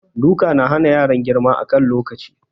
Duka na hana yaran girma a kan lokaci.